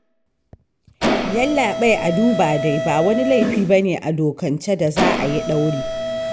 Yallaɓai a duba dai ba wani laifi ba ne a dokance da za a yi ɗauri